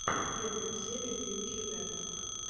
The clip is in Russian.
первая серия фьюче вево